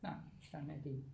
Nej sådan er det